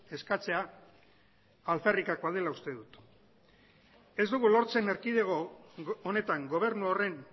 eskatzea alferrikakoa dela uste dut ez dugu lortzen erkidego honetan gobernu horren